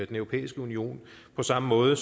europæiske union på samme måde